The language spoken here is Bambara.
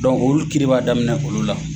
olu kiri b'a daminɛ olu la.